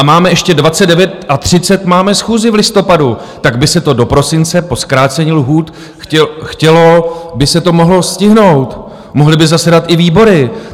A máme ještě 29. a 30. - máme schůzi v listopadu, tak by se to do prosince po zkrácení lhůt - chtělo by se to - mohlo stihnout, mohly by zasedat i výbory.